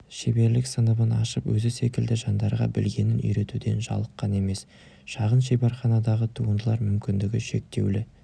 шеберлік сыныбын ашып өзі секілді жандарға білгенін үйретуден жалыққан емес шағын шеберханадағы туындылар мүмкіндігі шектеулі